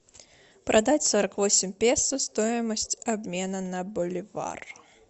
продать сорок восемь песо стоимость обмена на боливар